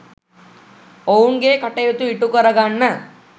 ඔවුන්ගේ කටයුතු ඉටු කරගන්න